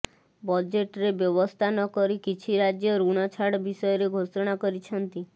ବଜେଟ୍ରେ ବ୍ୟବସ୍ଥା ନକରି କିଛି ରାଜ୍ୟ ଋଣ ଛାଡ଼ ବିଷୟରେ ଘୋଷଣା କରିଛନ୍ତି